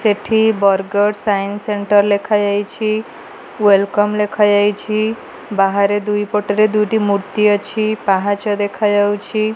ସେଠି Bargarh science centre ଲେଖାଯାଇଛି welcome ଲେଖାଯାଇଛି ବାହାରେ ଦୁଇ ପଟରେ ଦୁଇଟି ମୂର୍ତ୍ତି ଅଛି ପାହାଚ ଦେଖାଯାଉଛି।